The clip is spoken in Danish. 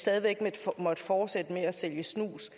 stadig væk måtte fortsætte med at sælge snus